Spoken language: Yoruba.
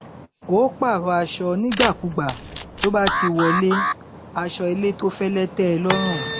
ó pààrọ aṣọ nígbàkúùgbà tó bá ti wọlé aṣọ ilé tó fẹlẹ tẹ ẹ lọrùn